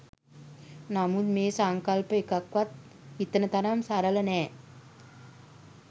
නමුත් මේ සංකල්ප එකක්වත් හිතන තරම් සරල නෑ.